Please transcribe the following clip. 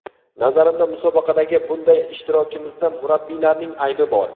Nazarimda musobaqadagi bunday ishtirokimizda murabbiylarning aybi bor.